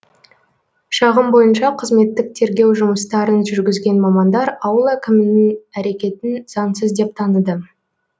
шағым бойынша қызметтік тергеу жұмыстарын жүргізген мамандар ауыл әкімінің әрекетін заңсыз деп таныды